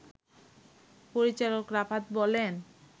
পরিচালক রাফাত বলেন